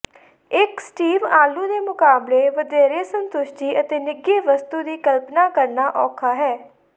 ਇੱਕ ਸਟੀਵ ਆਲੂ ਦੇ ਮੁਕਾਬਲੇ ਵਧੇਰੇ ਸੰਤੁਸ਼ਟੀ ਅਤੇ ਨਿੱਘੀ ਵਸਤੂ ਦੀ ਕਲਪਨਾ ਕਰਨਾ ਔਖਾ ਹੈ